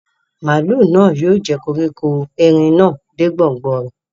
Màálù náà yóò jẹ koríko erin náà dé gbòngbò rẹ̀